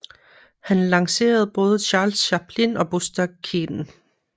Han lancerede både Charles Chaplin og Buster Keaton